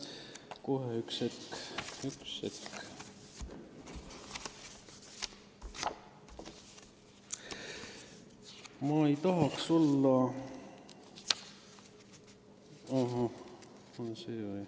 Kohe, üks hetk ...